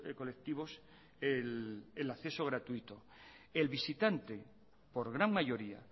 colectivos el acceso gratuito el visitante por gran mayoría